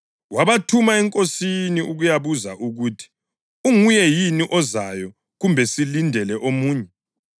wabathuma eNkosini ukuyabuza ukuthi, “Unguye yini ozayo, kumbe silindele omunye?”